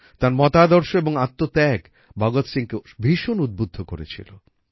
তাঁর মতাদর্শ এবং আত্মত্যাগ ভগৎ সিংকে ভীষণ উদ্বুদ্ধ করেছিল